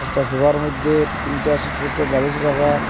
একটা সোফার মধ্যে তিনটা সোট সোট বালিশ রাখা।